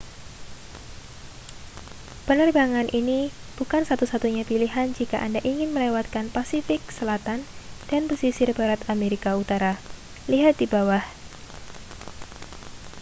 penerbangan ini bukan satu-satunya pilihan jika anda ingin melewatkan pasifik selatan dan pesisir barat amerika utara. lihat di bawah